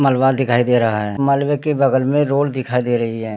मलवा दिखाई दे रहा है मलवे की बगल में रोड दिखाई दे रही है।